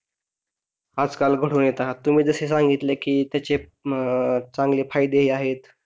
आजकाल घडून येतात तुही जसे सांगितले, कि त्याचे अह चांगले फायदे आहेत,